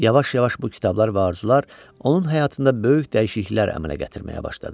Yavaş-yavaş bu kitablar və arzular onun həyatında böyük dəyişikliklər əmələ gətirməyə başladı.